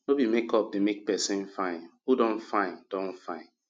no be make up dey make pesin fine who don fine don fine